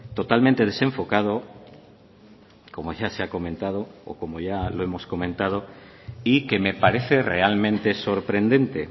totalmente desenfocado como ya se ha comentado o como ya lo hemos comentado y que me parece realmente sorprendente